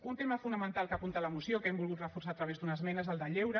un tema fonamental que apunta la moció que hem volgut reforçar a través d’una esmena és el de lleure